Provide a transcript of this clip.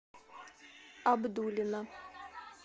абдулино